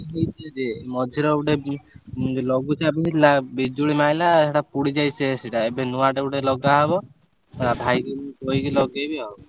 ମଝିରେ ଗୋଟେ ଲଘୁଚାପ ହେଇଥିଲା ବିଜୁଳି ମାଇଲା ସେଇଟା ପୋଡି ଯାଇଛି ସେଟା ଏବେ ନୂଆଟେ ଗୋଟେ ଲଗା ହବ ଭାଇକି କହିକି ଲଗେଇବି ଆଉ।